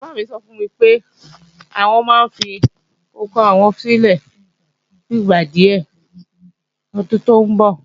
Bàbá mi sọ fún mi pé, àwọn máa ń fi oko àwọn sílè fún gba díè lọ́dún tó lọ